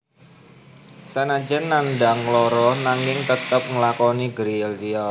Sanajan nandhang lara nanging tetep nglakoni gerilya